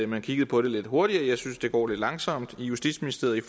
man kiggede på det lidt hurtigere jeg synes det går lidt langsomt i justitsministeriet